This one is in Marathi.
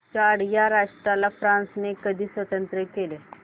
चाड या राष्ट्राला फ्रांसने कधी स्वातंत्र्य दिले